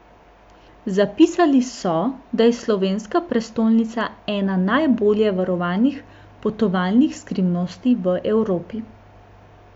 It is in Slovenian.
Zapisali so, da je slovenska prestolnica ena najbolje varovanih potovalnih skrivnosti v Evropi.